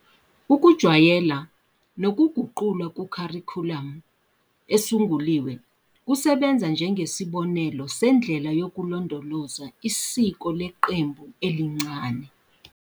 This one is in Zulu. Ukujwayela nokuguqulwa kukharikhulamu esunguliwe kusebenza njengesibonelo sendlela yokulondoloza isiko leqembu elincane.